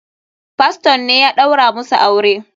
Faston ne ya ɗaura musu aure.